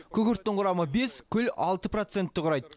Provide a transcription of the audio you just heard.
күкірттің құрамы бес күл алты процентті құрайды